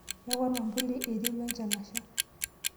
Yau ormwambuli eiterua enchan asha.